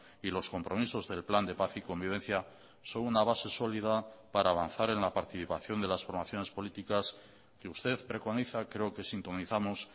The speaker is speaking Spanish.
y los compromisos del plan de paz y convivencia son una base sólida para avanzar en la participación de las formaciones políticas que usted preconiza creo que sintonizamos